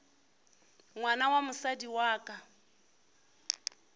ngwana wa mosadi wa ka